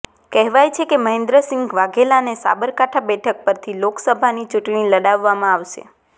કહેવાય છે કે મહેન્દ્રસિંહ વાઘેલાને સાબરકાંઠા બેઠક પરથી લોકસભાની ચૂંટણી લડાવવામાં આવશે